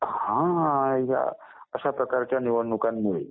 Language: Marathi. हां ह्या अश्या प्रकारच्या निवडणुकांमुळे.